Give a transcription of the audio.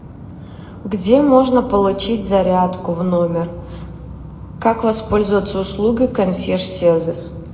где можно получить зарядку в номер как воспользоваться услугой консьерж сервис